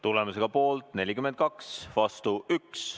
Tulemus: poolt 42, vastu 1.